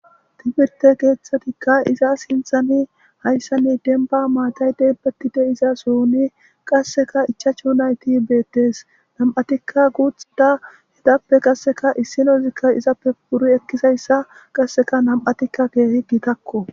tibirte keeththatikka iza sinthani hayssanni denba maatay deebbatti deiza suuni qasseka ichach yunayti beettes nam7atikka guutxida hidappe qasseka issinozikka izappe buri ekkisayssa qasseka nam7atikka keehi gitakko